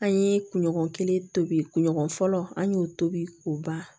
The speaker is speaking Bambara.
An ye kunɲɔgɔn kelen tobi kun ɲɔgɔn fɔlɔ an y'o tobi k'o ban